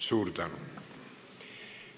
Suur tänu!